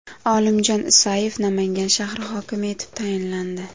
Olimjon Isayev Namangan shahri hokimi etib tayinlandi.